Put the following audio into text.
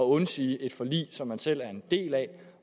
undsige et forlig som man selv er en del af